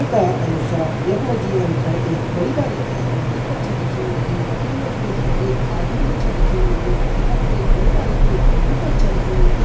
चित्र का अनुसार यख मा जी हम ते एक बड़ी बारिकी नदी कर छा दिखेण लगीं ईं नदी मा जी एक आदमी भी छा दिखेण लग्युं यखम एक बड़ु बारिकु डुंगु कर छा रख्युं।